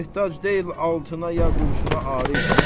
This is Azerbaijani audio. Möhtac deyil altına ya qurşuna, Arif.